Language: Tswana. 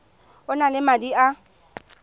o na le madi a